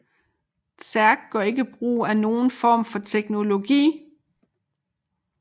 Zerg gør ikke brug af nogen form for teknologi